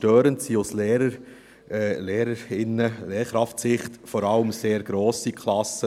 Störend sind aus Sicht der Lehrkräfte grosse Klassen.